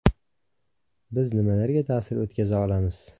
Biz nimalarga ta’sir o‘tkaza olamiz?